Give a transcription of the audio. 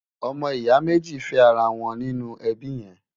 ọmọ ìyà méjì fé ará wón nínú ẹbí yèn